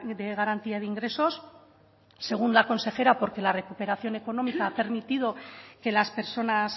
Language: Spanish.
de garantía de ingresos según la consejera porque la recuperación económica ha permitido que las personas